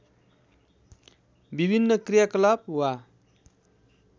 विभिन्न क्रियाकलाप वा